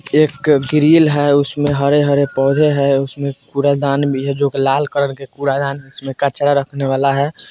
एक अ ग्रिल है उसमे हरे-हरे पौधे है उसमे कूड़ा-दान भी है जो की लाल कलर का कूड़ा-दान उसमे कचरा रखने वाला है।